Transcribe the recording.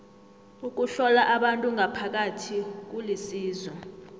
ukuhlola abantu ngaphakathi kulisizo